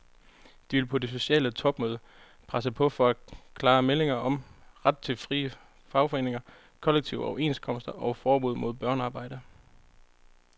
De vil på det sociale topmøde presse på for klare meldinger om ret til frie fagforeninger, kollektive overenskomster og forbud mod børnearbejde.